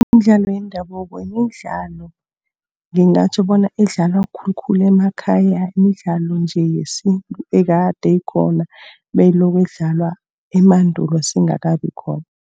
Imidlalo yendabuko midlalo, ngingatjho bona idlalwa khulukhulu emakhaya. Midlalo nje yesintu ekade ikhona, beyiloko idlalwa emandulo singakabi khona.